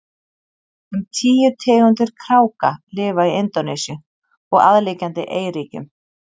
um tíu tegundir kráka lifa í indónesíu og aðliggjandi eyríkjum